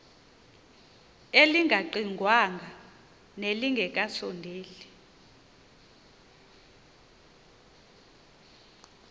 elingaqingqwanga nelinge kasondeli